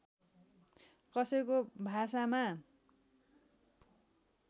कसैको भाषामा